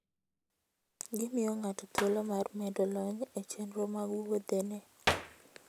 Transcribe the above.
Gimiyo ng'ato thuolo mar medo lony e chenro mag wuodhene.